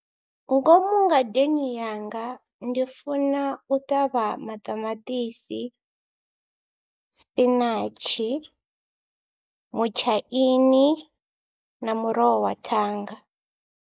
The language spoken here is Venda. Ngomu ngadeni yanga ndi funa u ṱavha maṱamaṱisi, sipinatshi, mutshaini na muroho wa thanga.